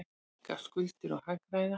Minnka skuldir og hagræða.